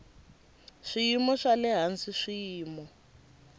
swiyimo swa le hansi swiyimo